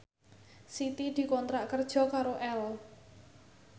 Siti dikontrak kerja karo Elle